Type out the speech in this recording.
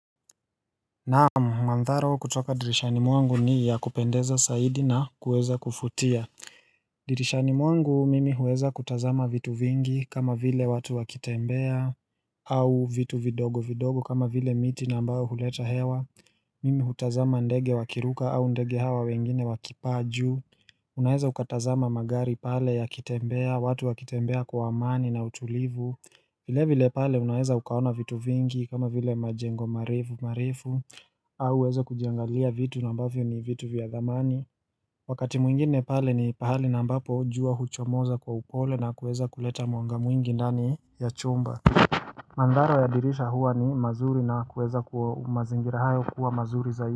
Naam mandhari kutoka dirishani mwangu ni ya kupendeza zaidi na kuweza kuvutia dirishani mwangu mimi huweza kutazama vitu vingi kama vile watu wakitembea au vitu vidogo vidogo kama vile miti na ambayo huleta hewa Mimi hutazama ndege wakiruka au ndege hawa wengine wakipaa juu Unaeza ukatazama magari pale yakitembea watu wakitembea kwa amani na utulivu vile vile pale unaeza ukaona vitu vingi kama vile majengo marefu marefu au uweze kujiangalia vitu na ambavyo ni vitu vya dhamani Wakati mwingine pale ni pahali na ambapo jua huchomoza kwa upole na kuweza kuleta mwanga mwingi ndani ya chumba Mandhari ya dirisha huwa ni mazuri na kuweza kwa mazingira hayo kuwa mazuri zaidi.